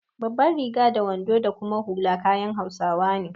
Babbar riga, wando da kuma hula kayan hausawa ne.